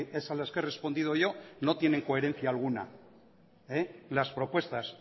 es a las que he respondido yo no tienen coherencia alguna las propuestas